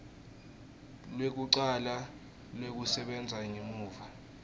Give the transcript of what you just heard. lwekucala lwekusebenta ngemuva